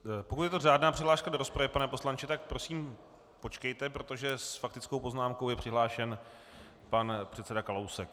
Pokud je to řádná přihláška do rozpravy, pane poslanče, tak prosím počkejte, protože s faktickou poznámkou je přihlášen pan předseda Kalousek.